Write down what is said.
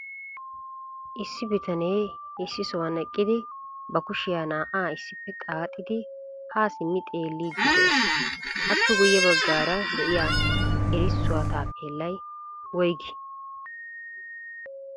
Issi bitanee issi sohuwan eqqidi ba kushiya naa"a issippe xaaxxidi ha simmi xeeliidi de'ees. Appe guyye baggaara de'iyaa erissuwa taappelay woyggi?